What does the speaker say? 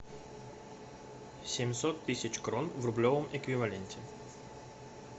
семьсот тысяч крон в рублевом эквиваленте